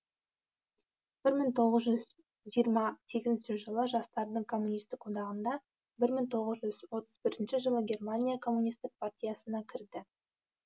бір мың тоғыз жүз жиырма сегізінші жылы жастардың коммунистік одағына бір мың тоғыз жүз отыз бірінші жылы германия коммунистік партиясына кірді